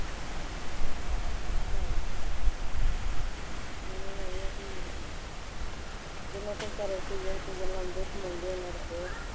ਮੈਨੂੰ ਲੱਗ ਰਿਹਾ ਕਿ ਜਿੰਨੇ ਕੁ ਬੇਚਾਰੇ ਗੱਲਾਂ ਹੁੰਦੀਆਂ